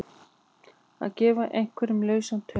Að gefa einhverjum lausan tauminn